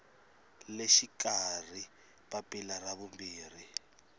le xikarhi papila ra vumbirhi